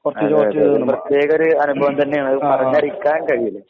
പ്രത്യേകയൊരു അനുഭവം തന്നെയാണ്. പറഞ്ഞറിയിക്കാൻ കഴിയില്ല.